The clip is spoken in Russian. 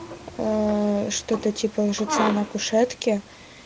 что-то типа лжеца на кушетке